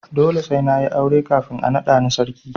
Dole sai na yi aure kafin a naɗa ni sarki.